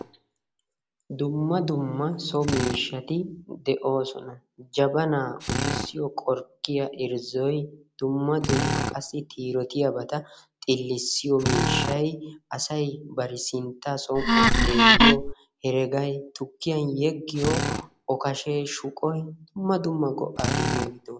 Dumma dumma so miishshaati de'oosona. Jabanaa uttissiyo qorkkiya irzzoy dumma dumma qassi tirootiyabata miishshay assy bari sinttaa som'uwa xeeliyo heregay yukkiyan yeggiyo okkashshee shuqqoy dumma dumma go'aa immiidi doossona.